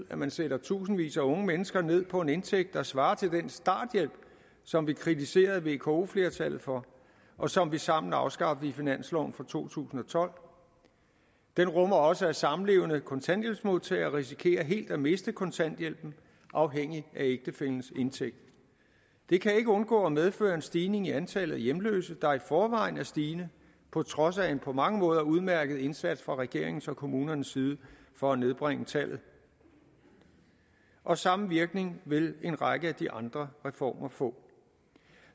man sætter tusindvis af unge mennesker ned på en indtægt der svarer til den starthjælp som vi kritiserede vko flertallet for og som vi sammen afskaffede i finansloven for to tusind og tolv den rummer også at samlevende kontanthjælpsmodtagere risikerer helt at miste kontanthjælpen afhængigt af ægtefællens indtægt det kan ikke undgå at medføre en stigning i antallet af hjemløse der i forvejen er stigende på trods af en på mange måder udmærket indsats fra regeringens og kommunernes side for at nedbringe tallet og samme virkning vil en række af de andre reformer få